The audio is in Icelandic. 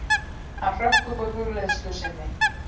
Hann hrökk upp úr hugleiðslu sinni.